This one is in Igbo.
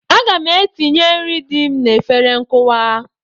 Aga m etinye nri dị m n'efere nkụwa.